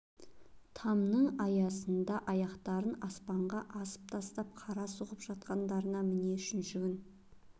тамның саясында аяқтарын аспанға асып тастап карта соғып жатқандарына міне үшінші күн